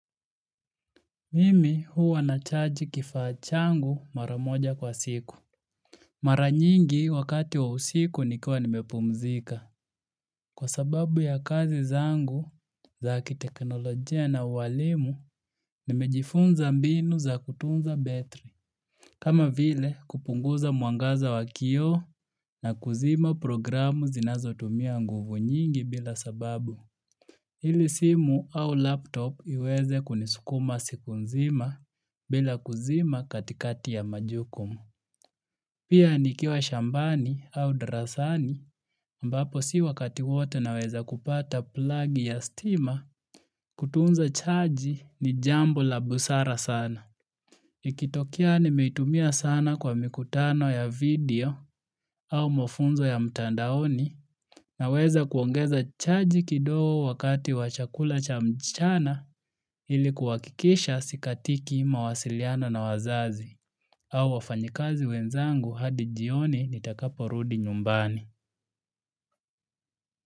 Mimi huwa nachaji kifaa changu mara moja kwa siku. Mara nyingi wakati wa usiku nikiwa nimepumzika. Kwa sababu ya kazi zangu zakiteknolojia na uwalimu nimejifunza mbinu za kutunza battery. Kama vile kupunguza mwangaza wa kio na kuzima programu zinazotumia nguvu nyingi bila sababu. Hili simu au laptop iweze kunisukuma siku nzima bila kuzima katikati ya majukumu. Pia nikiwa shambani au darasani ambapo si wakati wote naweza kupata plug ya stima kutunza chaji ni jambo la busara sana. Nikitokea nimeitumia sana kwa mikutano ya video au mafunzo ya mtandaoni naweza kuongeza chaji kidogo wakati wa chakula cha mchana ili kuhakikisha sikatiki mawasiliano na wazazi au wafanyikazi wenzangu hadi jioni nitakaporudi nyumbani.